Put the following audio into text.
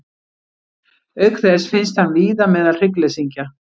Auk þess finnst hann víða meðal hryggleysingja.